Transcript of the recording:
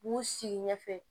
U b'u sigi ɲɛfɛ